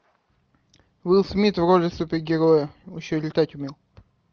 уилл смит в роли супергероя он еще летать умел